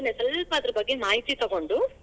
ನಾನ್ ಸ್ವಲ್ಪ ಅದ್ರ ಬಗ್ಗೆ ಮಾಹಿತಿ ತಗೊಂಡು.